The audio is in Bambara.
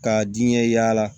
Ka diɲɛ yaala